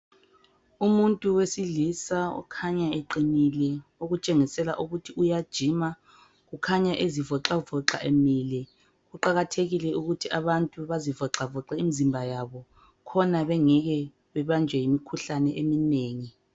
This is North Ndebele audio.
Umuntu wesilisa okhanya eqinile okutshengisela ukuthi uya gym kukhanya ezivoxavoxa Emile. Kuqakathekile ukuthi abantu bazivoxavoxa imizimba yabo khona bengeke bebanjwe yimkhuhlane eminengi